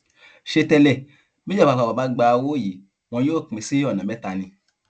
ṣé tẹlẹ bíjọba àpapọ bá gba owó yìí wọn yóò pín in sí ọnà mẹta ni